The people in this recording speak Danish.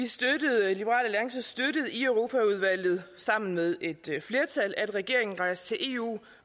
støttede i europaudvalget sammen med et flertal at regeringen rejste til eu